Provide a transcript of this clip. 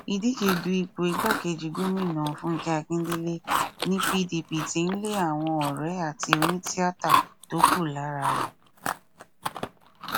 ìdíje du ipò igbákejì gómìnà fúnkẹ akíndélé ní pdp tí ń lé àwọn ọrẹ àti onítìáta tókù lára rẹ